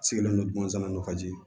Sigilen don dumuni san nafaji